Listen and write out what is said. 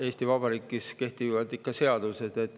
Eesti Vabariigis kehtivad ikka seadused.